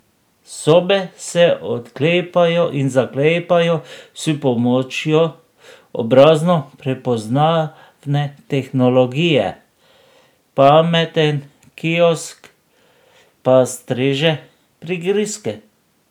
Sobe se odklepajo in zaklepajo s pomočjo obrazno prepoznavne tehnologije, pameten kiosk pa streže prigrizke.